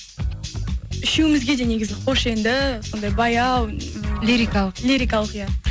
үшеумізге де негізі қош енді сондай баяу лирикалық лирикалық иә